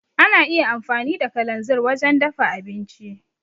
Ana iya amfani da kalanzir wajen dafa abinci.